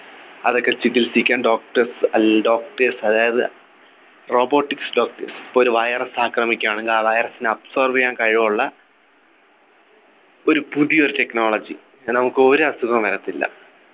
അതൊക്കെ ചികിൽസിക്കാൻ doctors അൽ doctors അതായത് robotics doctors പ്പോ ഒരു Virus ആക്രമിക്കാണെങ്കി ആ Virus നെ Absorb ചെയ്യാൻ കഴിവുള്ള ഒരു പുതിയൊരു Technology കാരണം നമുക്കൊരു അസുഖവും വരത്തില്ല